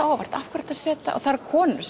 á óvart af hverju ertu að setja og það eru konur